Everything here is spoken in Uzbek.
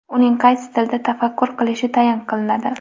uning qaysi tilda tafakkur qilishi tayin qiladi.